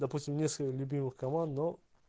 допустим несколько любимых команд но